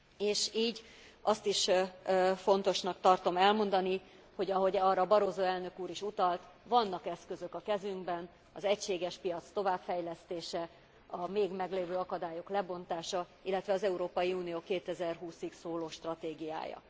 És így azt is fontosnak tartom elmondani, hogy ahogy arra Barroso elnök úr is utalt, vannak eszközök a kezünkben az egységes piac továbbfejlesztése, a még meglévő akadályok lebontása, illetve az Európai Unió 2020 ig szóló stratégiája.